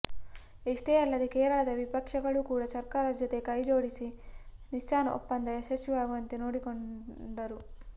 ಇಷ್ಟೇ ಅಲ್ಲದೇ ಕೇರಳದ ವಿಪಕ್ಷಗಳೂ ಕೂಡ ಸರ್ಕಾರದ ಜೊತೆ ಕೈಜೋಡಿಸಿ ನಿಸ್ಸಾನ್ ಒಪ್ಪಂದ ಯಶಸ್ವಿಯಾಗುವಂತೆ ನೋಡಿಕೊಂಡರು